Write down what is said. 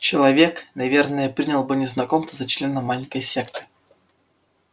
человек наверное принял бы незнакомца за члена маленькой секты